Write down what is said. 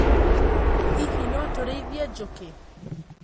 Hihi no tũrĩithie njũkĩ.